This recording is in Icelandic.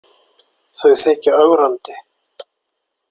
Þau þykja ögrandi.